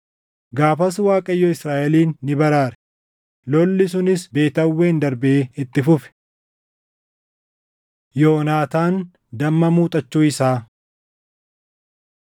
Gaafas Waaqayyo Israaʼelin ni baraare; lolli sunis Beet Aawwen darbee itti fufe. Yoonaataan Damma Muuxachuu Isaa